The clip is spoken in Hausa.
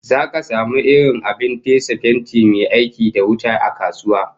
Zaka samu irin abin fesa fenti mai aiki da wuta a kasuwa